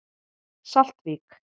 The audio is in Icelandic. Saltvík